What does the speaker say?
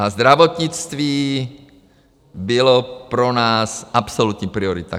A zdravotnictví bylo pro nás absolutní priorita.